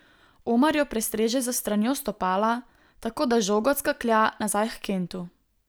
Omar jo prestreže s stranjo stopala, tako da žoga odskaklja nazaj h Kentu.